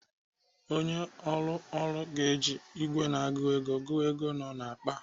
Onye ụlọ ọrụ ga-eji ìgwè na-agụ ego agụ ego nọ n'akpa a.